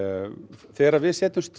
þegar við setjumst